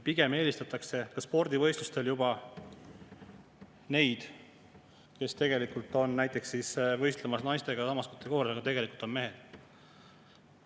Pigem eelistatakse ka spordivõistlustel juba neid, kes on näiteks võistlemas naistega samas kategoorias, aga tegelikult on mehed.